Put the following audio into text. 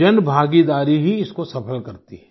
जनभागीदारी ही इसको सफल करती है